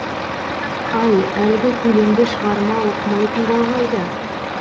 ай әлгі көлемді шығарма оқымайтын бал қайда